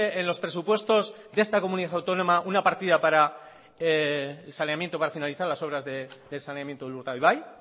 en los presupuesto de esta comunidad autónoma una partida para el saneamiento para finalizar las obras del saneamiento de urdaibai